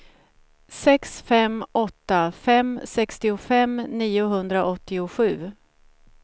sex fem åtta fem sextiofem niohundraåttiosju